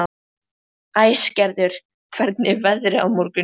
Æsgerður, hvernig er veðrið á morgun?